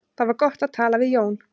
Það var gott að tala við Jóa.